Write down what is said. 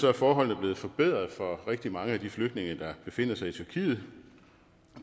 er forholdene blevet forbedret for rigtig mange af de flygtninge der befinder sig i tyrkiet